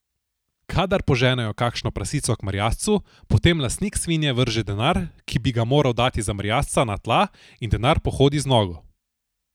Kadar poženejo kakšno prasico k merjascu, potem lastnik svinje vrže denar, ki bi ga moral dati za merjasca, na tla in denar pohodi z nogo.